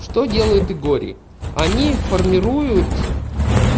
что делают игор и они формируют